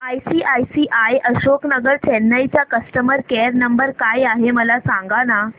ICICI Ashok Nagar Chennai चा customer care number काय आहे मला सांगाना